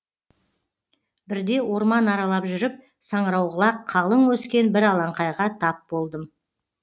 бірде орман аралап жүріп саңырауқұлақ қалың өскен бір алаңқайға тап болдым